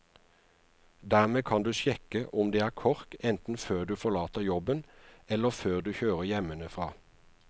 Dermed kan du sjekke om det er kork enten før du forlater jobben, eller før du kjører hjemmefra.